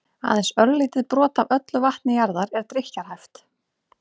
aðeins örlítið brot af öllu vatni jarðar er drykkjarhæft